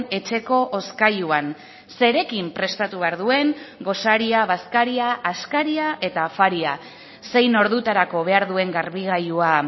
etxeko hozkailuan zerekin prestatu behar duen gosaria bazkaria askaria eta afaria zein ordutarako behar duen garbigailua